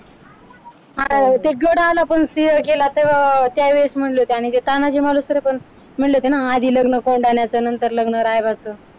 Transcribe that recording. ते गड आला पण सिंह गेला तेव्हा त्या वेळेस म्हटले होते आणि तानाजी मालुसरे पण म्हटले होते ना आधी लग्न कोंढाण्याच नंतर लग्न रायबाच